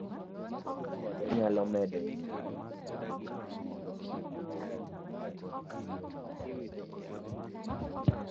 joma tiyo kode nyalo medo nyiewo sa magitiyo kod sim kagitiyo kod mpesa